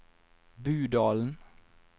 Budalen